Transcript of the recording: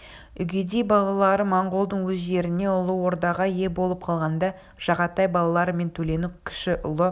үгедей балалары монғолдың өз жеріне ұлы ордаға ие болып қалғанда жағатай балалары мен төленің кіші ұлы